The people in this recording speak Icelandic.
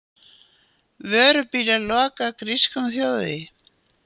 Vörubílar loka grískum þjóðvegi